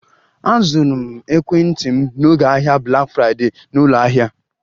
Azụrụ m ekwentị m n'oge ahịa Black Friday na ụlọ ahịa